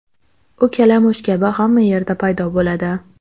U kalamush kabi hamma yerda paydo bo‘ladi.